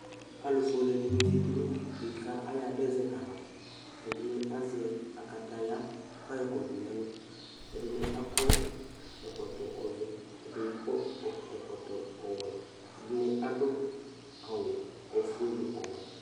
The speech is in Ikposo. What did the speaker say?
Alʋ fʋele dɩnɩ zatɩ nʋ ɩte kayadʋ zɛta ava ɛdɩnɩ azɛ akataya kʋ ayɔ kɔdʋ nɛlʋ ɛdɩnɩ akɔ ɛkɔtɔ vɛ ɛdɩnɩ akɔ ɛ̇kɔtɔ ɔwɛ ɛdɩnɩ adʋ awʋ ofʋe nʋ ɔwɛ